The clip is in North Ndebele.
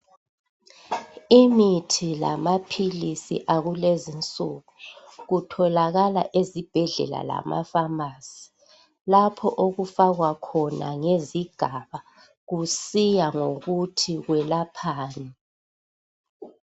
imithi amaphilisi akulezinsuku kutholakala ezibhedlela lasema famasi lapho okufakwakhona ngezigaba kusiya ngokuthi kwelaphani